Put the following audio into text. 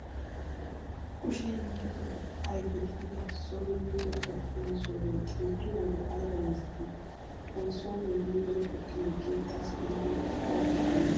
Kushe hiillatu ayipe gidida son wuyigen kaqqiyoo masoobe xeelliyo wode ayiba injjeti. Ha masoobe wuyigen kaqqin ,keettassi dumma puulaa immes.